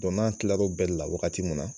n'an kila l'o bɛɛ de la wagati mun na